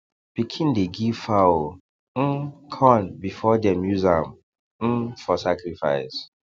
pikin dey give fowl um corn before dem use am um for sacrifice